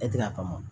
E tɛ a faamu